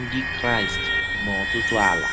Ndị Kraịst n’ọtụtụ ala.